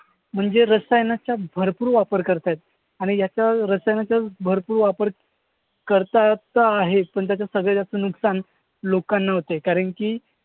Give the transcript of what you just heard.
म्हणजे रसायनांचा भरपूर वापर करताहेत आणि याचा रसायनचा भरपूर वापर करतात तर आहेच पण त्याचं सगळ्यात जास्त नुकसान लोकांना होतोय कारण की,